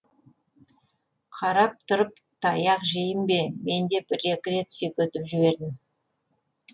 қарап тұрып таяқ жейін бе мен де бір екі рет сүйкетіп жібердім